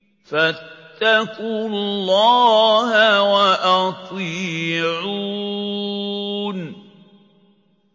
فَاتَّقُوا اللَّهَ وَأَطِيعُونِ